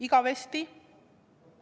Igavesti?